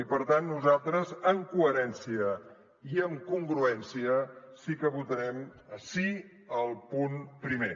i per tant nosaltres amb coherència i amb congruència sí que votarem sí al punt primer